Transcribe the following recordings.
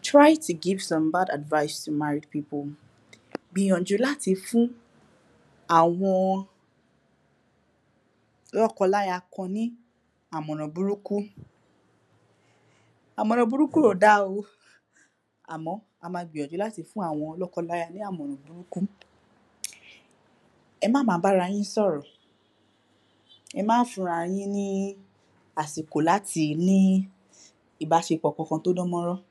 Try to give some bad advise to married people. Gbìnyànjú láti fún àwọn lọ́kọ-láya kan ní àmọ̀ràn burúkú. Àmọ̀ràn burúkú ò da o Àmọ, a ma gbìnyànjú láti fún àwọn lọ́kọ-láya ní àmọ̀ràn burúkú um Ẹ má ma bárayín sọ̀rọ̀ Ẹ má fún ra yín ní àsìkò láti ní ìbáṣepọ̀ kankan tó dán mọ́rán. um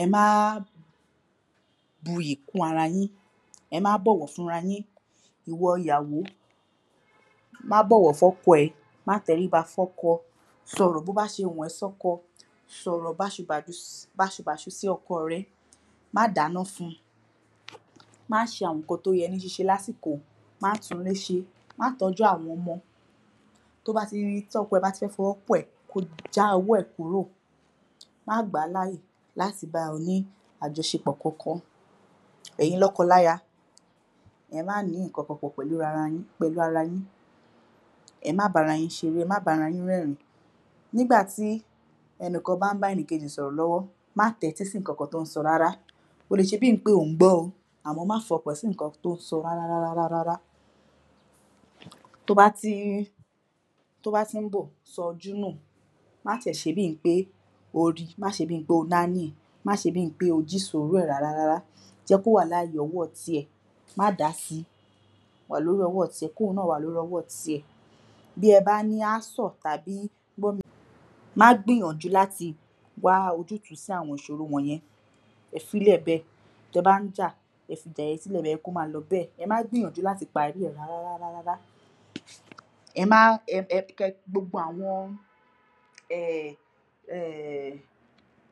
Ẹ má á bu ìyì kún ara yín, ẹ má bọ̀wọ̀ fúnra yín Ìwọ ìyàwó, má bọ̀wọ̀ fún ọkọ ẹ má tẹríba fún ọkọ sọ̀rọ̀ bó bá ṣe wùn ẹ́ sọ́kọ sọ̀rọ̀ báṣu bàdu si, báṣu báṣu sí ọkọ rẹ má dáná fún-un má ṣe àwọn nǹkan tó yẹ ní ṣíṣe lásìkò, má túnléṣe, má tọ́jú àwọn ọmọ tóbáti, tí ọkọ ẹ bá ti fẹ́ fi ọwọ́ kàn ẹ́, ko já ọwọ́ ẹ̀ kúrò má gbàá láyè láti bá ọ ní àjọṣepọ̀ kankan. Ẹ̀yin lọ́kọ-láya ẹ má ni ǹkankan pọ̀ pẹ̀lú rara yín, pẹ̀lú ara yín ẹ má bára yín ṣeré, ẹ má bára yín rẹ́rìn-ín nígbàtí ẹnìkan bá ń bá ènìkejì sọ̀rọ̀ lọ́wọ́, má tẹ́tí si ǹkankan tó ń sọ rárá o lè ṣebí ǹ pé ò ń gbọ́ o àmọ, má fọkàn sí nǹkan tó ń sọ rárárárá To bá tí ń tó bá tí ń bọ̀, sọjúnù ma tiẹ̀ ṣebí n pé o ri, ma ṣebí pé o naní ma ṣebí n pé o jísòró ẹ rárárárá jẹ́kówà láàyè ọwọ́ ti ẹ̀ má dási wà lórí ọwọ́ tiẹ, kí òun náà wà lórí ọwọ́ tiẹ̀ Bí ẹ bá ní ásọ̀ tàbí gbọ́ mi má gbìyànjú láti wá ojútùú sí àwọn ìṣòro wọ̀nyẹn fi sílẹ̀ bẹ́ẹ̀, ti ẹ bá ń jà ẹ fi ìjà yẹn sílẹ̀ bẹ́ẹ̀, ẹ jẹ́ kó ma lọ bẹ́ẹ̀, ẹ má gbìyànjú láti parí ẹ̀ rárá rárárá ẹ má, um kẹ gbogbo àwọn um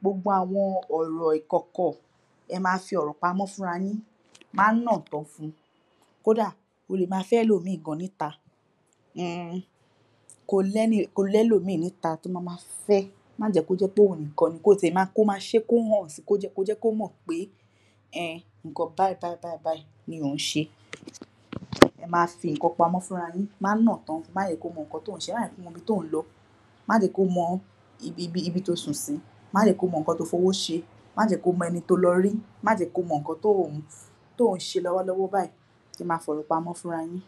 gbogbo àwọn ọ̀rọ̀ ìkọ̀kọ̀ ẹ ma fi ọ̀rọ̀ pamọ́ fúnra yín má nọ̀ tán fun kódàà, o lè ma fẹ́ ẹlọ̀mìí gan níta um ko lẹ́nì, ko ní ẹlòmìí níta to ma ma fẹ́. Má jẹ̀ kó jẹ́ pé ìwọ níkan, ko tiẹ̀ ma, ko ma ṣé kó hàn si, ko jẹ́ kó mọ̀ pé um nǹkan báyìí báyìí báyìí ni ò ń ṣe ẹ ma fi ǹnkan pamọ́ fúnra yín, má nọ̀ tán, mà jẹ́ kí ó mọ ǹnkan tí ò ń ṣe, mà jẹ́ kí ó mọ ibi tí ò ń lọ mà jẹ́ kó mọ ibi, ibi tí o sùn sí má jẹ̀ kí ó mọ nǹkan tí o fi owó ṣe má jẹ̀ kí ó mọ ẹni tí o lọ rí, má jẹ̀ kí ó mọ nǹkan tí ò ń, tí ò ń ṣe lọ́wọ́lọ́wọ́ báyìí, ẹ ma fi ọ̀rọ̀ pamọ́ fúnra yín